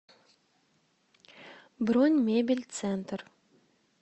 бронь мебель центр